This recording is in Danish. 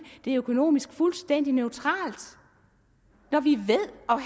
er økonomisk fuldstændig neutralt når vi ved